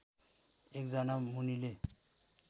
एकजना मुनिले